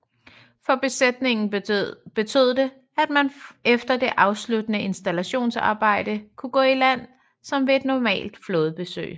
For besætningerne betød det at man efter det afsluttede installationsarbejde kunne gå i land som ved et normalt flådebesøg